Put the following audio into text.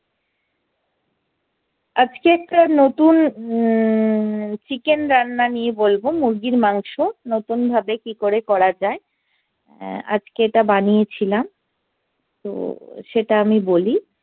আজকে একটা নতুন উম চিকেন রান্না নিয়ে বলবো মুরগির মাংস নতুন ভাবে কি করে করা যাই আজকে এইটা বানিয়ে ছিলাম তো সেটা আমি বলি।